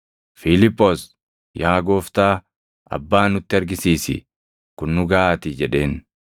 Fiiliphoos, “Yaa Gooftaa, Abbaa nutti argisiisi; kun nu gaʼaatii” jedheen.